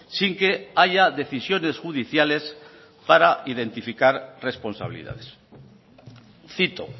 sin que haya decisiones judiciales para identificar responsabilidades cito